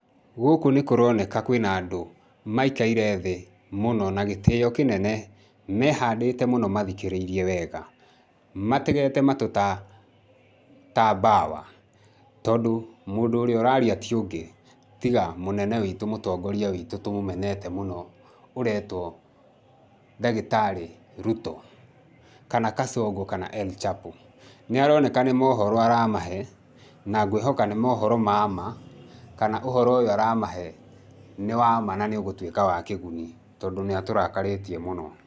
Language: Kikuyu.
Gũkũ nĩ kũroneka kwĩ na andũ maikaire thĩ mũno na gĩtĩo kĩnene, mehandĩte mũno mathikĩrĩirie wega, mategeta matũ ta ta mbawa tondũ mũndũ ũrĩa ũraria ti ũngĩ tiga mũnene witũ, mũtongoria witũ, tũmũmeneta mũno ũreetwo ndagĩtarĩ Ruto, kana Kasongo kana El Chapo. Nĩ aroneka nĩ mohoro aramahe na ngwĩhoka nĩ mohoro ma ma kana ũhoro ũyũ aramahe nĩ wa ma na nĩ ũgũtũĩka wa kĩguni tondũ nĩ atũrakarĩtie mũno.